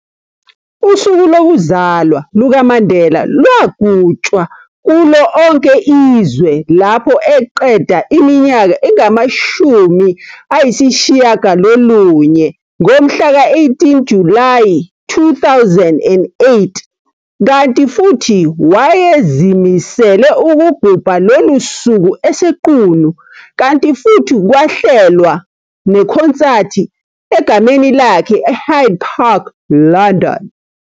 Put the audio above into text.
Usuku lokuzalwa lukaMandela lwagutshwa kulo onke izwe lapho eqeda iminyaka engama 90, ngomhla ka 18 Julayi, 2008, kanti futhi wayezimisele ukugubha lolu suku eseQunu, kanti futhi kwahlelwa nekhonsathi egameni lakhe e-Hyde Park, London.